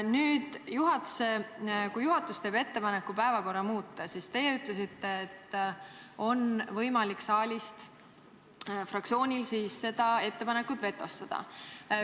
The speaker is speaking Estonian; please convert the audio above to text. Nüüd, te ütlesite, et kui juhatus teeb ettepaneku päevakorda muuta, siis on fraktsioonil võimalik saalis see ettepanek vetostada.